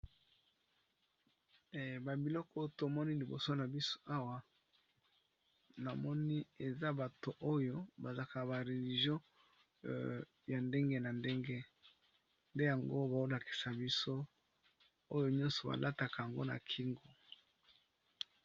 Ba biloko tomoni liboso na biso awa namoni eza bato oyo ba zalaka ba religio ya ndenge na ndenge nde yango bao lakisa biso oyo nyoso ba lataka yango na kingo.